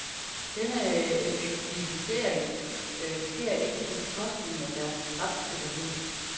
Denne effektivisering sker ikke på bekostning af deres retssikkerhed.